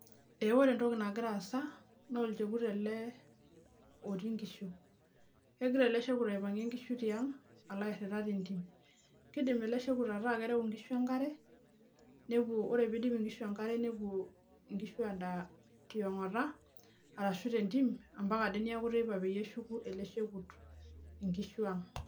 ore entoki nagira aasa naa olchekut otii inkishu kipangie ele shekut inkishu nelo airita nereu enkara nelo airita ampata te ntim ampaka ade neeku teipa peeshukunkishu ang